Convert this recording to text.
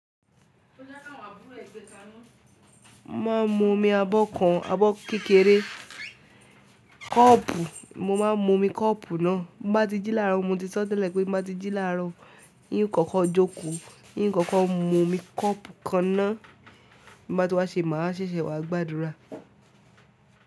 Mo máa ń mu omi abọ́ kan, abọ́ kékeré. Kọ́ọ̀pù mo máa ń mu omi kọ́ọ̀pù náà. Ń bá ti jí láàárọ̀ mo ti sọ́ tẹ́lẹ̀ pé ń bá ti jí láàárọ̀. Hín kókó jókòó hín kókó mú omi kọ́ọ̀pù kan náà. Ń bá ti wá ṣe màá ṣẹ̀ṣẹ̀ wá gbàdúrà.